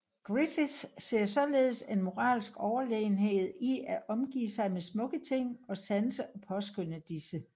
Griffith ser således en moralsk overlegenhed i at omgive sig med smukke ting samt sanse og påskønne disse